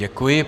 Děkuji.